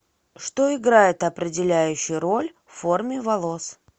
что играет определяющую роль в форме волос